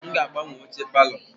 M ga-agbanwe oche palọ.